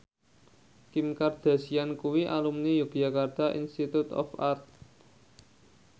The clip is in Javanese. Kim Kardashian kuwi alumni Yogyakarta Institute of Art